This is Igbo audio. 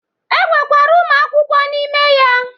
E nwekwara Ụmụ akwụkwọ n'ime ya.